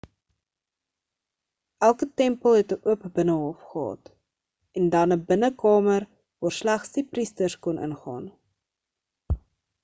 elke tempel het 'n oop binnehof gehad end dan 'n binnekamer waar slegs die priesters kon ingaan